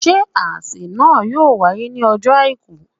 Ṣé àsè náà yóò wáyé ní ọjọ́ Àìkú